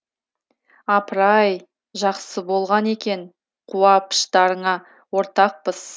апыр ай жақсы болған екен қуа пыштарыңа ортақпыз